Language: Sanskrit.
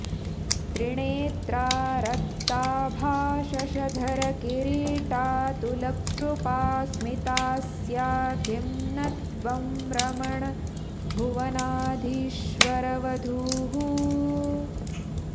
त्रिणेत्रा रक्ताभा शशधरकिरीटाऽतुलकृपा स्मितास्या किं न त्वं रमण भुवनाधीश्वरवधूः